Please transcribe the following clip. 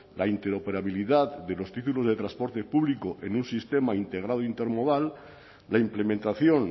la interoperabilidad de los títulos de transporte público en un sistema integrado intermodal la implementación